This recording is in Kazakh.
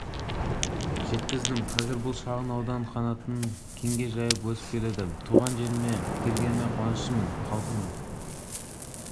жеткіздім қазір бұл шағын аудан қанатын кеңге жайып өсіп келеді туған жеріме келгеніме қуаныштымын халқының